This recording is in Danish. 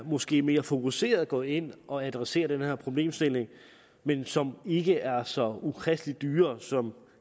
måske mere fokuseret går ind og adresserer den her problemstilling men som ikke er så ukristeligt dyre som